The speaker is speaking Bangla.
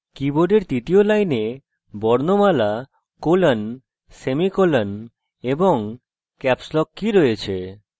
কীবোর্ডের তৃতীয় line বর্ণমালা colon/semicolon এবং caps lock key রয়েছে